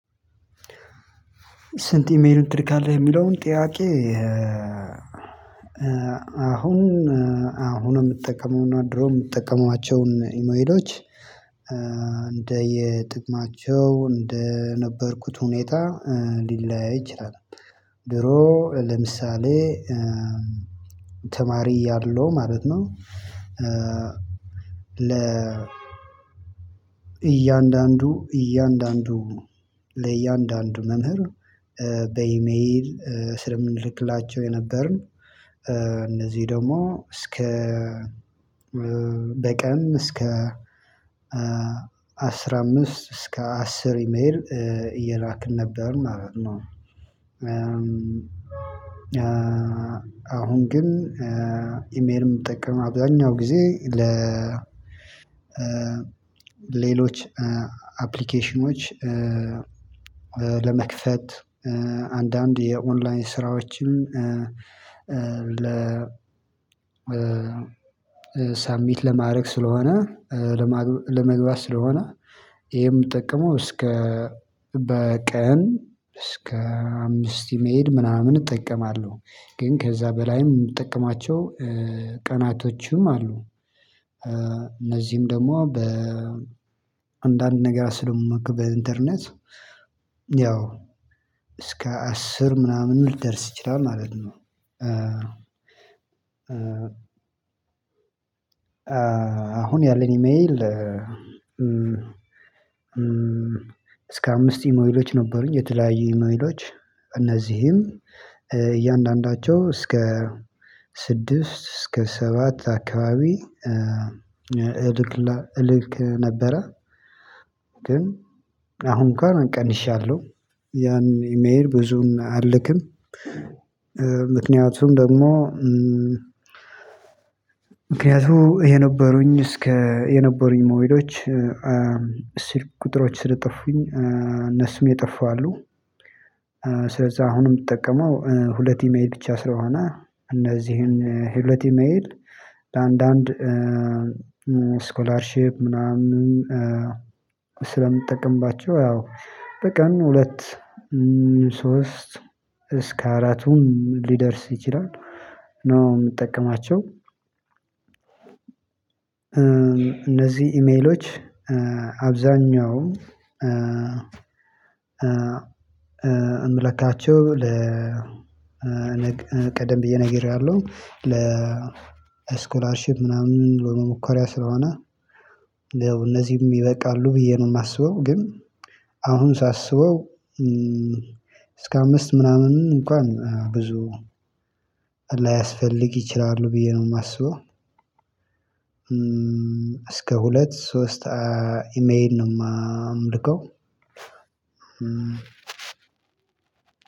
ስንት ኢሜል ትልካለህ የሚለውን ጥያቄ? አሁን አሁን የምጠቀመውና ድሮ የምጠቀማቸውን ኢሜሎች እንደ የጥቅማቸው እንደ ነበርኩት ሁኔታ ሊለያይ ይችላል። ድሮ ለምሳሌ ተማሪ ያለው ማለት ነው። ለ እያንዳንዱ እያንዳንዱ ለእያንዳንዱ መምህር በኢሜል ስለምንልክላቸው የነበርን እነዚህ ደግሞ እስከ በቀን እስከ አስራ አምስት እስከ አስር መሄድ እየራቅን ነበር ማለት ነው። አሁን ግን ኢሜልም የምጠቀመው አብዛኛው ጊዜ ሌሎች አፕሊኬሽኖች ለመክፈት አንዳንድ የኦንላይን ስራዎችን። ሳሚት ለማድረግ ስለሆነ ለመግባት ስለሆነ ይሄ ምጠቀመው እስከ በቀን እስከ አምስት ኢሜል ምናምን እጠቀማለሁ። ግን ከዛ በላይም ምጥቅማቸው ቀናቶችም አሉ እነዚህም ደግሞ በአንዳንድ ነገር ስለሆነ በኢንተርኔት ያው እስከ አስር ምናምን ሊደርስ ይችላል ማለት ነው። አሁን ያለኝ ኢሜል እስከ አምስት ኢሜይሎች ነበሩኝ የተለያዩ ኢሜይሎች እነዚህም እያንዳንዳቸው እስከ ስድስት እስከ ሰባት አካባቢ እልክ ነበረ። ግን አሁን ጋር እቀንሻለሁ ያን ኢሜል ብዙን አልክም። ምክንያቱም ደግሞ ምክንያቱም የነበሩኝ እስከ የነበሩኝ ኢሜሎች ሲል ቁጥሮች ስለጠፉኝ እነሱም የጠፉ አሉ። ስለዛ አሁንም የምትጠቀመው ሁለቴ የኢሜል ብቻ ስለሆነ እነዚህን የሁለት የኢሜል አንዳንድ ስኮላርሺፕ ምናምን ስለምጠቅምባቸው ያው በቀን ሁለት ሶስት እስከ አራቱን ሊደርስ ይችላል ነው የምጠቀማቸው። እነዚህ ኢሜሎች አብዛኛው እምልካቸው ለቀደም ብዬ ነግሬያለሁ ለስኮላርሺፕ ምናምን ለሙከራ ስለሆነ እነዚህም ይበቃሉ ብዬ ነው የማስበው። ግን አሁን ሳስበው እስከ አምስት ምናምን እንኳን ብዙ ላያስፈልግ ይችላሉ ብዬ ነው የማስበው። እስከ ሁለት ሶስት ኢሜይል ነው የምልከው።